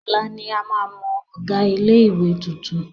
Ọ̀la ni a máa mọ ọ̀gá ilé-ìwé tuntun.